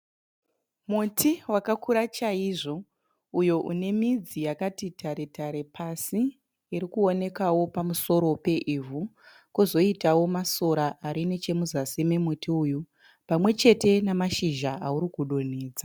Muti wakakura chaizvo uyo une midzi yakati tare tare pasi iri kuonekawo pamusoro peivhu. Kozoitawo masora ari nechemuzasi memuti uyu pamwe chete namashizha auri kudonhedza.